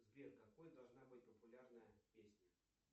сбер какой должна быть популярная песня